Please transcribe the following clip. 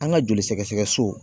An ka joli sɛgɛsɛgɛ so